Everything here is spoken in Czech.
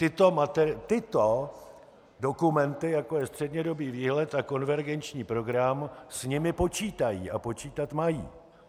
Tyto dokumenty, jako je střednědobý výhled a konvergenční program, s nimi počítají a počítat mají.